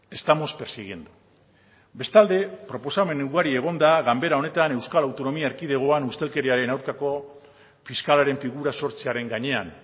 estamos persiguiendo bestalde proposamen ugari egon da ganbera honetan euskal autonomia erkidegoan ustelkeriaren aurkako fiskalaren figura sortzearen gainean